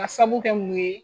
Ka sabu kɛ mun ye?